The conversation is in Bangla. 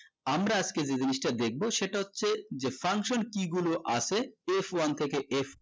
আমরা আজকে যে জিনিসটা দেখবো সেটা হচ্ছে যে function key গুলো আছে f one থেকে f twelve